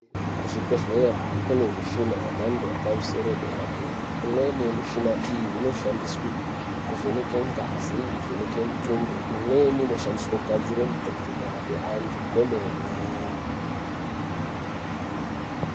Kuzvibhehlera kune mushina yemhando yepamusoro yedera dera imweni mushina iyi inoshandiswa kuvheneke ngazi kuvheneka mutundo imweni inoshandiswa kugadzire mitombo inorape antu kwemene.